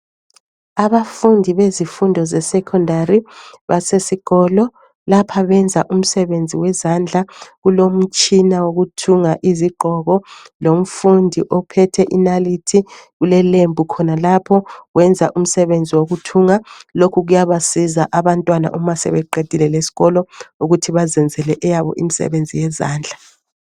Abafundi bezifundo zesecondary basesikolo. Lapha benza umsebenzi wezandla. Kulomtshina wokuthunga izigqoko. Lomfundi ophethe inalithi, kulelembu khonalapho. Wenza umsebenzi wokuthunga. Lokhu kuyabasiza abantwana uma sebeqedile lesikolo, ukuthi bazenzele imisebenzi yezandla.